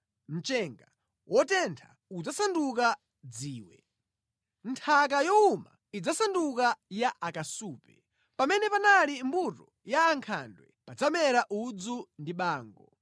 mchenga wotentha udzasanduka dziwe, nthaka yowuma idzasanduka ya akasupe. Pamene panali mbuto ya ankhandwe padzamera udzu ndi bango.